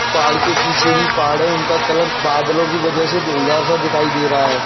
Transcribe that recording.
पहाड़ के पीछे भी पहाड़ है उनका कलर बादलों के वजह से धुंधुला सा दिखाई दे रहा है।